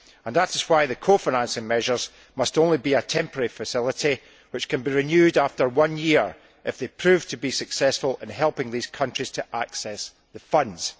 That is why the co financing measures must only be a temporary facility which can be renewed after one year if they prove to be successful in helping these countries to access the funds.